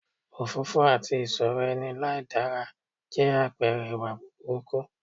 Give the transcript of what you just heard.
Òfófófó àti ìsọ̀rọ̀ ẹni láìdára jẹ́ àpẹ̀rẹ ìwà burúkú